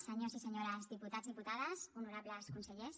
senyors i senyores diputats diputades honorables consellers